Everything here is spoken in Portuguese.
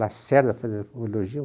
Lacerda, fazer um elogio.